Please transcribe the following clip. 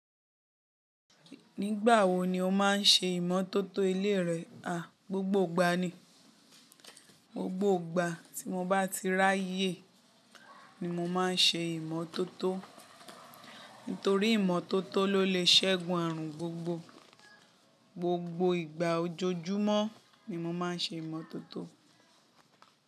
Nígbà wo ni o máa ń ṣe ìmọ́tótó ilé rẹ, a? Gbogbo ìgbà ni. Gbogbo ìgbà tí mo bá ti ráyè ni mo máa ń ṣe ìmọ́tótó. Nítorí ìmọ́tótó ló lè ṣẹ́gun àrùn gbogbo. Gbogbo ìgbà ojoojúmọ́ ni mo máa ń ṣe ìmọ́tótó.